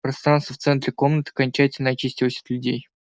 пространство в центре комнаты окончательно очистилось от людей